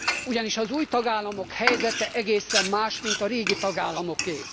Ugyanis az új tagállamok helyzete egészen más, min a régi tagállamoké.